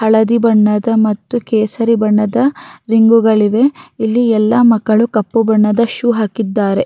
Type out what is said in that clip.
ಹಳದಿ ಬಣ್ಣದ ಮತ್ತು ಕೇಸರ ಬಣ್ಣದ ರಿಂಗುಗಳಿವೆ ಇಲ್ಲಿ ಎಲ್ಲ ಮಕ್ಕಳು ಕಪ್ಪು ಬಣ್ಣದ ಶೂ ಹಾಕಿಕೊಂಡಿದ್ದಾರೆ.